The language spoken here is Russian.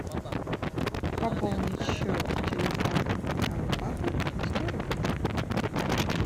пополнить счет телефона моего папы на сто рублей